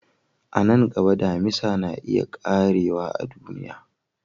A nan gaba, Damisa na iya ƙarewa a duniya.